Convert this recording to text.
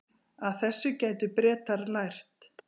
Af þessu gætu Bretar lært